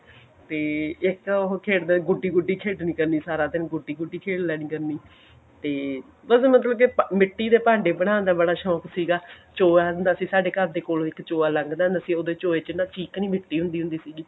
ਤੇ ਇੱਕ ਉਹ ਖੇਡਦੇ ਗੁੱਡੀ ਗੁੱਡੀ ਖੇਡਣੀ ਜਾਣੀ ਸਾਰਾ ਦਿਨ ਗੁੱਡੀ ਗੁੱਡੀ ਖੇਡ ਲੈਣੀ ਕਰਨੀ ਤੇ ਉਹਨਾਂ ਦਾ ਮਤਲਬ ਜੇ ਮਿੱਟੀ ਦੇ ਭਾਂਡੇ ਬਨਾਣ ਦਾ ਬੜਾ ਸ਼ੌਂਕ ਸੀਗਾ ਚੋਆ ਹੁੰਦਾ ਸੀ ਸਾਡੇ ਘਰ ਦੇ ਕੋਲੋ ਇੱਕ ਚੋਆ ਲੰਗਦਾ ਸੀ ਉਹ ਚੋਏ ਚ ਨਾ ਚਿਕਨੀ ਮਿੱਟੀ ਹੁੰਦੀ ਹੁੰਦੀ ਸੀਗੀ